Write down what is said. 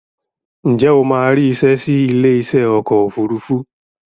Ǹjẹ́ o máa rí isẹ́ sí ilé iṣẹ́ ọkọ̀ òfurufú